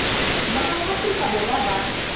naha ya afrika borwa ba